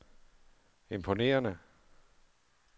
imponerende